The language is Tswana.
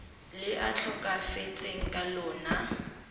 le a tlhokafetseng ka lona